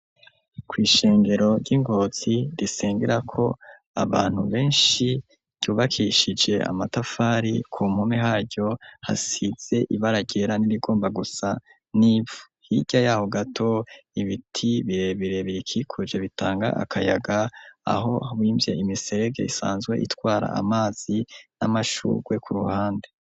Kw'ishengero ry'ingotsi risengera ko abantu benshi ryubakishije amatafari ku mpumi haryo hasize ibararyera n'irigomba gusa n'ia hirya yaho gato ibiti birebirebirikikuje bitanga akayaga aho wimvye imiserege isanzwe itwara amazi n'amashurwe ku ruhande.